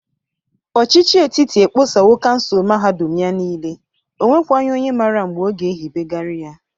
Ọchịchị etiti ekposawo kansụl mahadụm ya niile. O nwekwaghị onye mara mgbe ọ ga-ehibegarị ya.